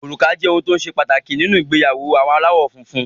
Òrùka jẹ́ ohun tó ṣe pàtàkì nínú ìgbéyàwó àwọn aláwọ̀ funfun.